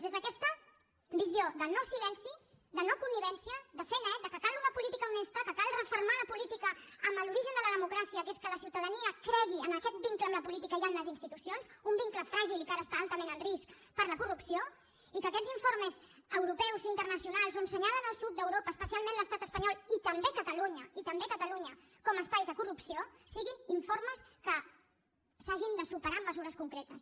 des d’aquesta visió de no silenci de no connivència de fer net que cal una política honesta que cal refermar la política amb l’origen de la democràcia que és que la ciutadania cregui en aquest vincle amb la política i en les institucions un vincle fràgil i que ara està altament en risc per la corrupció i que aquests informes europeus i internacionals on assenyalen el sud d’europa especialment l’estat espanyol i també catalunya i també catalunya com espai de corrupció siguin informes que s’hagin de superar amb mesures concretes